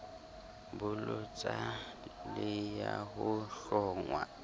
bolotsa le ya ho hlongwa